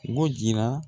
B'o jira